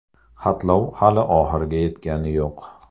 Xatlov hali oxiriga yetgani yo‘q.